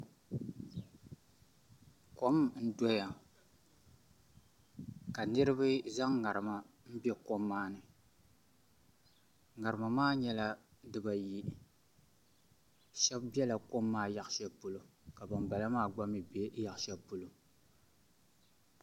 Kom n doya ka niraba zaŋ ŋarima n bɛ kom maa ni ŋarima maa nyɛla dibayi shab biɛla kom maa yaɣashɛli polo ka ban bala maa gba mii bɛ yaɣa shɛli polo